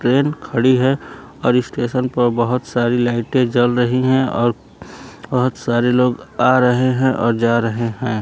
Train खड़ी है और स्टेशन पर बहोत सारी लाइटें जल रही हैं और बहोत सारे लोग आ रहे हैं और जा रहे हैं।